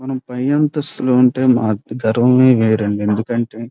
మనం పై అంతస్తులో ఉంటే ఆ గర్వమే వేరండి ఎందుకంటే --